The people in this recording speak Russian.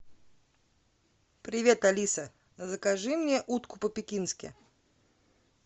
привет алиса закажи мне утку по пекински